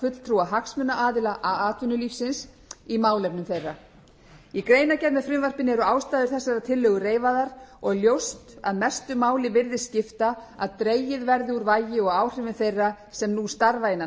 fulltrúa hagsmunaaðila atvinnulífsins í málefnum þeirra í greinargerð með frumvarpinu eru ástæður þessarar tillögu reifaðar og ljóst að mestu máli virðist skipta að dregið verði úr vægi og áhrifum þeirra sem nú starfa innan